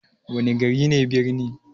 Wana gari ne birni?